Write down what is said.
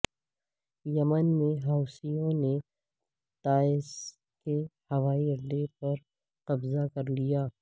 یمن میں حوثیوں نے تائز کے ہوائی اڈے پر قبضہ کرلیا